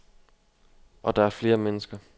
Og der er flere mennesker.